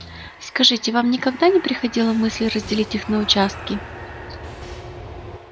скажите вам никогда не приходила мысль разделить их на участки